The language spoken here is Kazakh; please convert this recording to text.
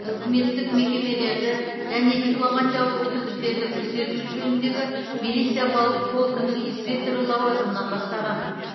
үкіметтік мекемелерді және дипломатиялық өкілдіктерді күзету жөніндегі милиция полкінің инспекторы лауазымынан бастаған